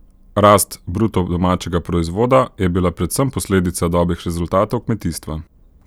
Rast bruto domačega proizvoda je bila predvsem posledica dobrih rezultatov kmetijstva.